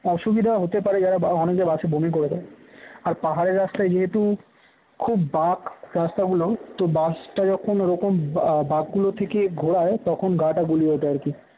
অসুবিধা হতে পারে যারা বা অনেকে বাসে বমি করে দেয় আর পাহাড়ের রাস্তায় যেহেতু খুব বাঁক রাস্তাগুলো তো বাসটা যখন রকম আহ বাকগুলো থেকে ঘোরায় তখন গা গুলিয়ে ওঠে আর কি